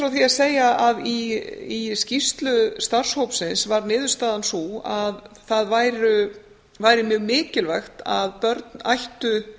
fá því að segja að í skýrslu starfshópsins var niðurstaðan sú að það væri mjög mikilvægt að börn ættu